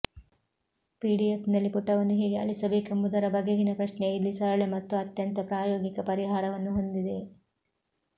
ಪಿಡಿಎಫ್ನಲ್ಲಿ ಪುಟವನ್ನು ಹೇಗೆ ಅಳಿಸಬೇಕೆಂಬುದರ ಬಗೆಗಿನ ಪ್ರಶ್ನೆಯು ಇಲ್ಲಿ ಸರಳ ಮತ್ತು ಅತ್ಯಂತ ಪ್ರಾಯೋಗಿಕ ಪರಿಹಾರವನ್ನು ಹೊಂದಿದೆ